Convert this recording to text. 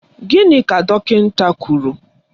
Gịnị ka dọkịnta kwụrụ?